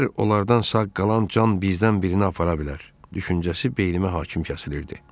Hər onlardan sağ qalan can bizdən birini apara bilər düşüncəsi beynimə hakim kəsilirdi.